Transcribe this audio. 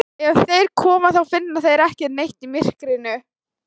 Ef þeir koma þá finna þeir ekki neitt í myrkrinu.